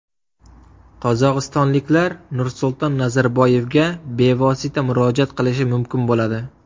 Qozog‘istonliklar Nursulton Nazarboyevga bevosita murojaat qilishi mumkin bo‘ladi.